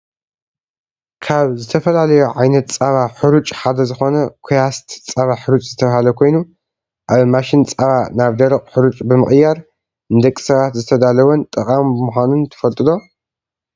ካብ ዝተፈላለዩ ዓይነት ፃባ ሑሩጭ ሓደ ዝኮነ ኮያስት ፃባ ሕሩጭ ዝተባሃለ ኮይኑ፣ ኣብ ማሽን ፃባ ናብ ደረቅ ሑሩጭ ብምቅያር ንደቂ ሰባት ዝተዳለወን ጠቃሚ ምኳኑን ትፈልጡ ዶ?